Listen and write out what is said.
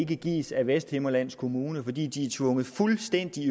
kan gives af vesthimmerlands kommune fordi de er tvunget fuldstændig i